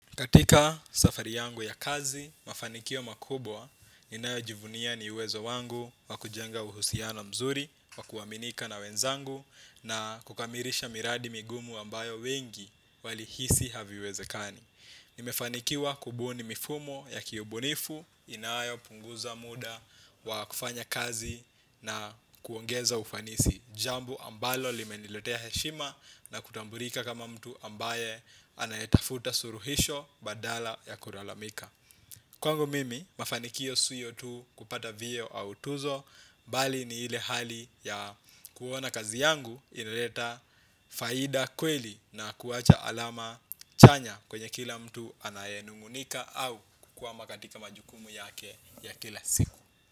Katika safari yangu ya kazi, mafanikio makubwa, ninayojivunia ni uwezo wangu wa kujenga uhusiano mzuri, wa kuaminika na wenzangu na kukamilisha miradi migumu ambayo wengi walihisi haviwezekani. Nimefanikiwa kubuni mifumo ya kiubunifu, inayopunguza muda, wa kufanya kazi na kuongeza ufanisi jambo ambalo limeniletea heshima na kutambulika kama mtu ambaye anayetafuta suluhisho badala ya kulalamika kwangu mimi, mafanikio sio tu kupata vyeo au tuzo, bali ni ile hali ya kuona kazi yangu inaleta faida kweli na kuacha alama chanya kwenye kila mtu anayenung'unika au kukwama katika majukumu yake ya kila siku.